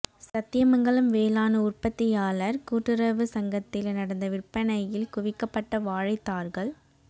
சத்தியமங்கலம் வேளாண் உற்பத்தியாளர் கூட்டுறவு சங்கத்தில் நடந்த விற்பனையில் குவிக்கப்பட்ட வாழைத் தார்கள்